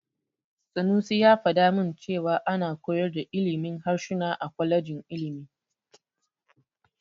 Sanusi ya faɗa min cewa ana koyar da ilimin harsuna a kwalejin ilimi.